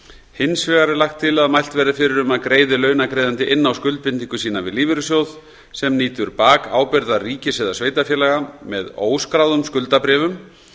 hins vegar er lagt til að mælt verði fyrir um að greiði launaþegi inn á skuldbindingu sína við lífeyrissjóð sem nýtur bakábyrgðar ríkis eða sveitarfélaga með óskráðum skuldabréfum